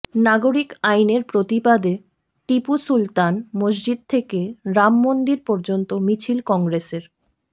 নাগরিক আইনের প্রতিবাদে টিপু সুলতান মসজিদ থেকে রামমন্দির পর্যন্ত মিছিল কংগ্রেসের